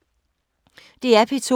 DR P2